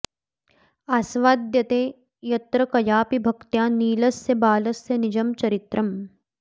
आस्वाद्यते यत्र कयापि भक्त्या नीलस्य बालस्य निजं चरित्रम्